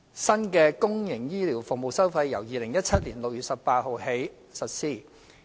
新的公營醫療服務收費由2017年6月18日起實施。